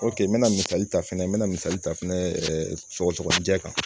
n me na misali ta fɛnɛ n me na misali ta fɛnɛ sɔgɔsɔgɔnijɛ kan